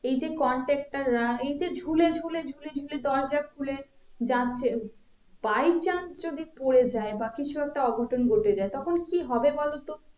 এই যে conductor রা এই যে ঝুলে ঝুলে ঝুলে ঝুলে দরজা খুলে যাচ্ছে by chance যদি পরে যায় বা কিছু একটা অঘটন ঘটে যায় তখন কি হবে বলো তো?